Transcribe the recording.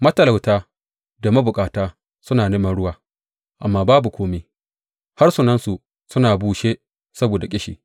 Matalauta da mabukata suna neman ruwa, amma babu kome; harsunansu sun bushe saboda ƙishi.